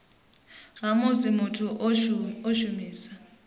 ha musi muthu o shumisa